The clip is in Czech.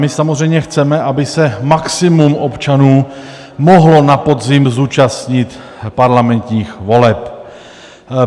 My samozřejmě chceme, aby se maximum občanů mohlo na podzim zúčastnit parlamentních voleb.